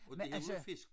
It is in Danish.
Og de var ude og fiske